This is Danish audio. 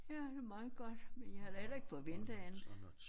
Ja det meget godt men jeg havde da heller ikke forventet andet